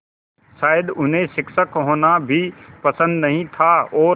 शायद उन्हें शिक्षक होना भी पसंद नहीं था और